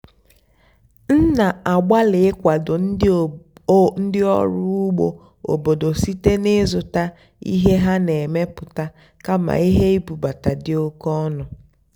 m nà-àgbàlị́ ị́kwàdó ndí ọ́rụ́ ùgbó óbòdò síte n'ị́zụ́tá íhé há nà-èmepụ́tá kàmà íhé ìbúbátá dì óké ónú.